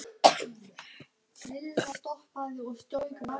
Mikið lifandis skelfing sem þér hafið gert mikið fyrir okkur.